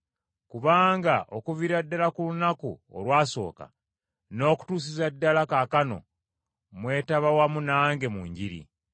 Kubanga okuviira ddala ku lunaku olwasooka n’okutuusiza ddala kaakano mwetaba wamu nange mu njiri.